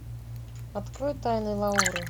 открой тайны лауры